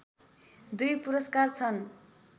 दुई पुरस्कार छन्